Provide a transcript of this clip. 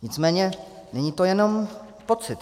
Nicméně není to jenom pocit.